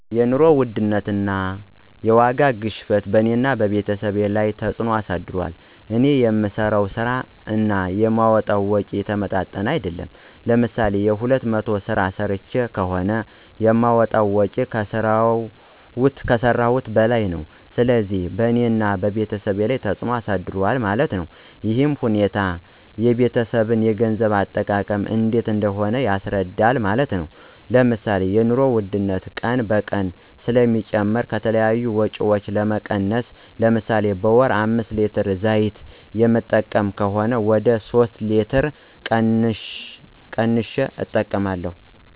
የኑሮ ውድነት (የዋጋ ግሽበትን በእኔና በቤተሰቦቸ ላይ ተፅዕኖ አሳድሯል። እኔ የምሠራው ስራ እና የማወጣዉ ወጭ የተመጣጠነ አይደለም። ለምሳሌ የሁለት መቶ ስራ ሰርቸ ከሆነ የማወጣው ወጭ ከሰረውት በላይ ነው። ስለዚህ በእኔና በቤተሰብ ላይ ተፅዕኖ አሳድሯል ማለት ነው። ይህ ሁኔታ የቤተሰብን የገንዘብ አጠቃቀም እንዴት እንደሆነ ያስረዳል ማለት ነው። ለምሳሌ የኑሮ ውድነት ቀን በቀን ስለሚጨምር ከተለያዩ ወጭዎች በመቀነስ ለምሳሌ በወር አምስት ሌትር ዘይት የምጠቀም ከሆነ ወደ ሶስት ሌትር ቀንሸ እጠቀማለሁ።